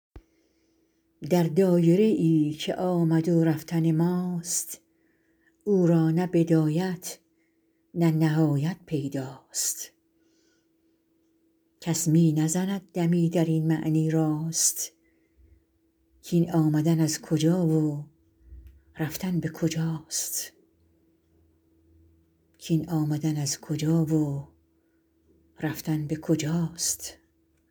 در دایره ای که آمد و رفتن ماست او را نه بدایت نه نهایت پیدا ست کس می نزند دمی در این معنی راست کاین آمدن از کجا و رفتن به کجاست